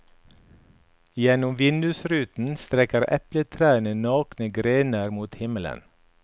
Gjennom vindusruten strekker epletrærne nakne grener mot himmelen.